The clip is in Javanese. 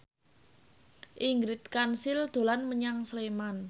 Ingrid Kansil dolan menyang Sleman